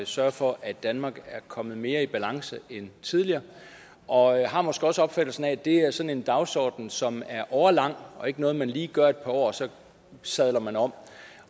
sørge for at danmark er kommet mere i balance end tidligere og har måske også opfattelsen af at det er sådan en dagsorden som er årelang og ikke noget man lige gør et par år og så sadler man om